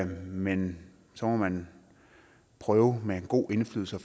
men så må man prøve med en god indflydelse